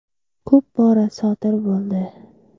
Ko‘p bora sodir bo‘ldi.